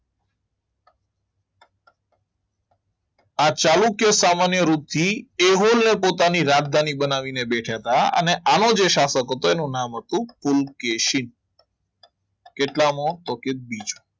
આ ચાલુક્ય સામાન્ય રૂપથી એહોલને પોતાની રાજધાની બનાવીને બેઠા હતા અને આનો જે શાસક હતો એનું નામ હતું કુલ કેસિત કેટલામો તો કે બીજો